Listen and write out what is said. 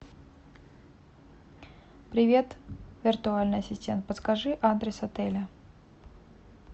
привет виртуальный ассистент подскажи адрес отеля